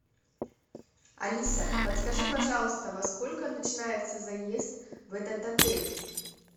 алиса подскажи пожалуйста во сколько начинается заезд в этот отель